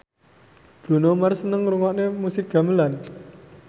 Bruno Mars seneng ngrungokne musik gamelan